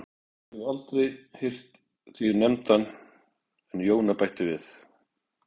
Ég hafði aldrei heyrt þig nefndan en Jóna bætti við